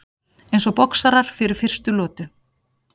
Eins og boxarar fyrir fyrstu lotu.